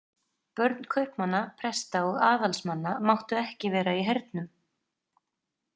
Börn kaupmanna, presta og aðalsmanna máttu ekki vera í hernum.